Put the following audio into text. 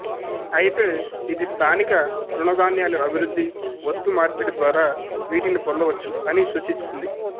అయితే ఇది స్థానిక తృణధాన్యాలు అభివృద్ధి వస్తు మార్పిడి ద్వారా వీటిని పొందవచ్చు అని సూచిస్తుంది